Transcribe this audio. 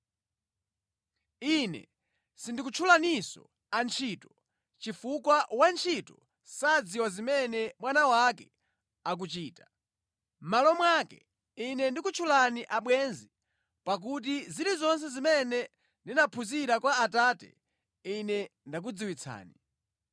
Ine sindikutchulaninso antchito, chifukwa wantchito sadziwa zimene bwana wake akuchita. Mʼmalo mwake Ine ndakutchani abwenzi pakuti zilizonse zimene ndinaphunzira kwa Atate, Ine ndakudziwitsani.